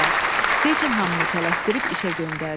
Fejin hamını tələsdirib işə göndərdi.